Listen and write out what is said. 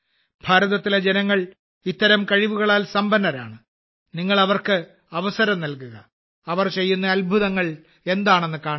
ഭാരതത്തിലെ ജനങ്ങൾ ഇത്തരം കഴിവുകളാൽ സമ്പന്നരാണ് നിങ്ങൾ അവർക്ക് അവസരം നൽകുക അവർ ചെയ്യുന്ന അത്ഭുതങ്ങൾ എന്താണെന്ന് കാണുക